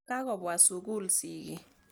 Kakopwa sukul sigik.